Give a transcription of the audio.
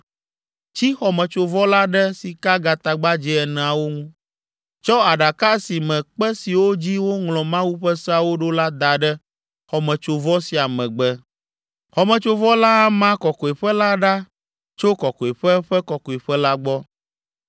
Tsi xɔmetsovɔ la ɖe sikagatagbadzɛ eneawo ŋu. Tsɔ Aɖaka si me kpe siwo dzi woŋlɔ Mawu ƒe seawo ɖo la da ɖe xɔmetsovɔ sia megbe. Xɔmetsovɔ la ama Kɔkɔeƒe la ɖa tso Kɔkɔeƒe Ƒe Kɔkɔeƒe la gbɔ.